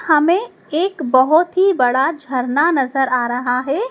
हमें एक बहोत ही बड़ा झरना नजर आ रहा है।